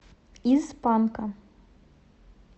из панка